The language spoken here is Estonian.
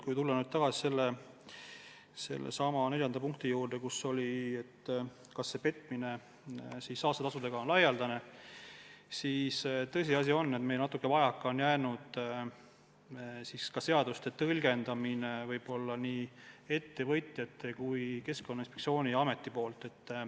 Kui tulla neljanda küsimuse juurde, kas petmine saastetasudega on laialdane, siis tõsiasi on, et meil on natuke vajaka jäänud ka seaduste eeldatud tõlgendamist nii ettevõtjate kui ka Keskkonnainspektsiooni ja Keskkonnaameti poolt.